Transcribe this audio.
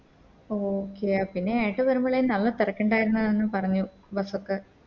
Okay ആ പിന്നെ ഏട്ടൻ വരുമ്പളെ നല്ല തെരക്കിണ്ടാരുന്നു എന്ന് പറഞ്ഞു Bus ഒക്കെ